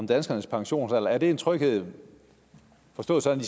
danskernes pensionsalder er det en tryghed forstået sådan